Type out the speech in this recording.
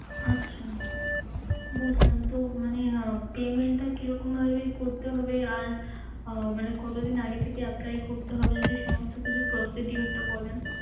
আচ্ছা বুঝলাম। তো মানে আহ payment টা কিরকম ভাবে করতে হবে? আর আহ মানে কতদিন আগে থেকে apply করতে হবে? যদি সমস্ত কিছু procedure টা বলেন।